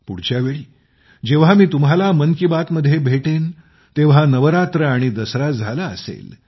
पुढच्या वेळी जेव्हा मी तुम्हाला मन की बात मध्ये भेटेन तेव्हा नवरात्र आणि दसरा झाला असेल